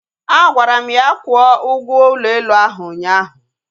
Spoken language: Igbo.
Agwara m ya kwụọ ụgwọ ụlọ elu ahụ ụnyaahụ